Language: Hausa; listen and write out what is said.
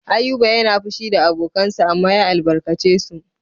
Ayuba yana fushi da abokansa amma ya albarkace su.